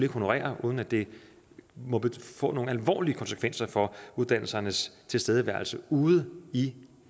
honorere uden at det må få nogle alvorlige konsekvenser for uddannelsernes tilstedeværelse ude i